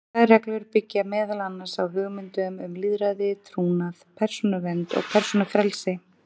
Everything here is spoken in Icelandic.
Þær reglur byggja meðal annars á hugmyndum um lýðræði, trúnað, persónuvernd og persónufrelsi.